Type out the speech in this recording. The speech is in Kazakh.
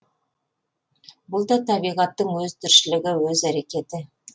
бұл да табиғаттың өз тіршілігі өз әрекеті